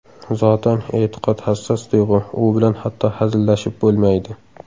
Zotan, e’tiqod hassos tuyg‘u, u bilan hatto hazillashib bo‘lmaydi.